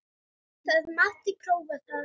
Það mátti prófa það.